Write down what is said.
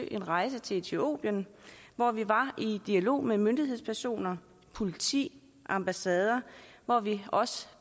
en rejse til etiopien hvor vi var i dialog med myndighedspersoner politi ambassader og vi